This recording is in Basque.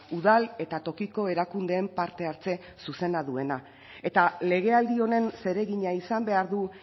udal eta tokiko erakundeen parte hartze zuzena duena eta legealdi honen zeregina izan behar du